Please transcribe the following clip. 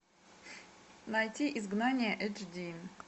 найти изгнание эйч ди